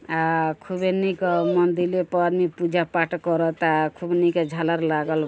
आ खूबे निक मंदिले प आदमी पूजा-पाठ करता। खूब निके झालर लागल --